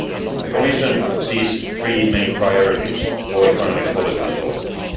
The Commission sees three main priorities for economic policy this autumn.